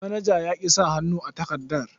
Manajan ya ƙi sa hannu a takardar.